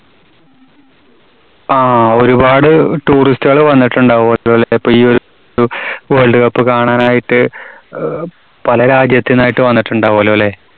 ആ, ഒരുപാട് tourist കള് വന്നിട്ടുണ്ടാവും അപ്പോ ഈ ഒ~രു വേൾഡ് കപ്പ് കാണാനായിട്ട് അഹ് പല രാജ്യത്തുന്നായിട്ട് വന്നിട്ടുണ്ടാവുമല്ലോല്ലേ?